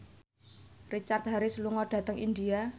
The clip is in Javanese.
Richard Harris lunga dhateng India